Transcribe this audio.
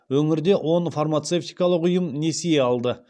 өңірде он фармацевтикалық ұйым несие алды